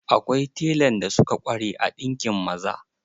Akwai telan da suka ƙware a ɗinkin maza.